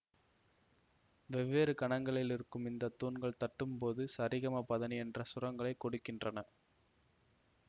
வெவ்வேறு கனங்களிலிருக்கும் இந்த தூண்கள் தட்டும்போது சரிகமபதநீ என்ற சுரங்களைக் கொடுக்கின்றன